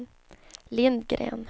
Lindgren